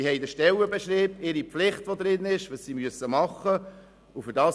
Sie verfügen über ihren Stellenbeschrieb, ihre damit verbundenen Pflichten, und sie erhalten dafür Lohn.